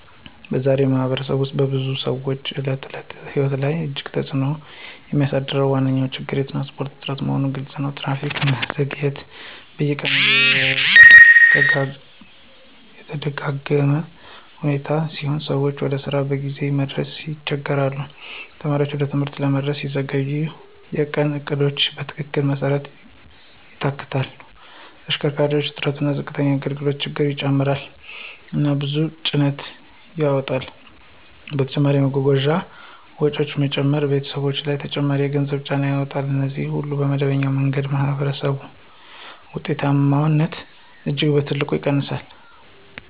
በዛሬ ማኅበረሰብ ውስጥ በብዙ ሰዎች የዕለት ተዕለት ሕይወት ላይ እጅግ ትልቅ ተጽእኖ የሚያሳድረው ዋነኛ ችግር የትራንስፖርት እጥረት መሆኑ ግልፅ ነው። ትራፊክ መዘግየት በየቀኑ የተደጋጋ ሁኔታ ሲሆን ሰዎች ወደ ስራቸው በጊዜ መድረስ ይቸገሣሉ። ተማሪዎች ወደ ትምህርት መድረስ ሲዘገይ የቀን እቅዶቻቸው በትልቅ መሰረት ይታወክላሉ። ተሽከርካሪ እጥረት እና ዝቅተኛ አገልግሎት ችግሩን ይጨምራሉ እና ብዙ ጭነት ያመጣሉ። በተጨማሪም የጓጓዣ ወጪዎች መጨመራቸው ቤተሰቦች ላይ ተጨማሪ የገንዘብ ጫና ያመጣል። እነዚህ ሁሉ በመደበኛ መንገድ የማኅበረሰብ ውጤታማነትን እጅግ በትልቅ ይቀንሳሉ